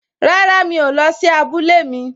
Rárá, mi ò lọ sí abúlé mi